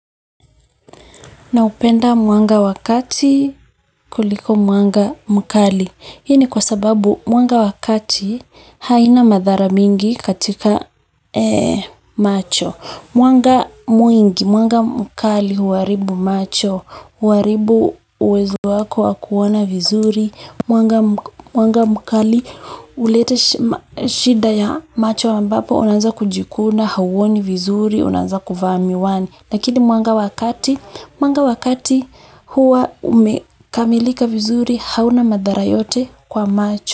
Napenda mwanga wa kati kuliko mwanga mkali hii ni kwa sababu mwanga wa kati haina madhara mingi katika macho mwanga mwingi, mwanga mkali huharibu macho, huharibu uwezo wako wa kuona vizuri. Mwanga mkali huleta shida ya macho ambapo unanza kujikuna hauoni vizuri, unaanza kuvaa miwani. Lakini mwanga wa kati, mwanga wa kati huwa umekamilika vizuri hauna madhara yote kwa macho.